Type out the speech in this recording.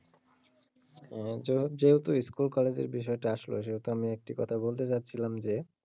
আহ যেহেতু ইস্কুল কলেজের বিষয় টা আসলো সে বিষয়ে আমি একটি কোথা বলতে চাচ্ছিলাম যে,